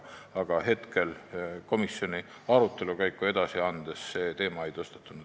Aga komisjoni senise arutelu käigus see teema ei tõstatunud.